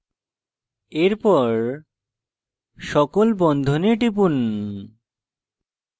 এরপর সকল বন্ধনে টিপুন